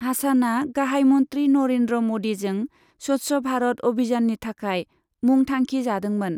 हासानआ गाहायमन्त्री नरेन्द्र मोदीजों स्वच्छ भारत अभियाननि थाखाइ मुं थांखि जादोंमोन।